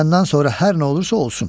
Məndən sonra hər nə olursa olsun.